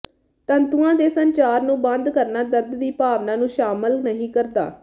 ਤੰਤੂਆਂ ਦੇ ਸੰਚਾਰ ਨੂੰ ਬੰਦ ਕਰਨਾ ਦਰਦ ਦੀ ਭਾਵਨਾ ਨੂੰ ਸ਼ਾਮਲ ਨਹੀਂ ਕਰਦਾ